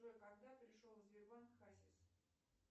джой когда пришел в сбербанк хасис